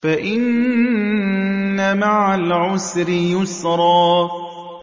فَإِنَّ مَعَ الْعُسْرِ يُسْرًا